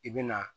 I bɛ na